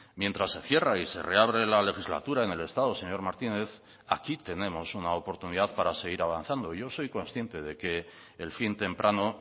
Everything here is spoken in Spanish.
mientras se cierra y se reabre la legislatura en el estado señor martínez aquí tenemos una oportunidad para seguir avanzando yo soy consciente de que el fin temprano